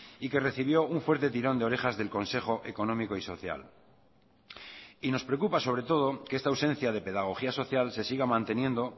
y que recibió un fuerte tirón de orejas del consejo económico y social y nos preocupa sobre todo que esta ausencia de pedagogía social se siga manteniendo